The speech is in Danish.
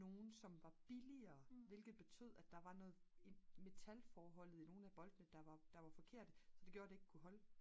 nogle som var billigere hvilket betød at der var noget metalforholdet i nogle af boltene der var forkerte så det gjorde at det ikke kunne holde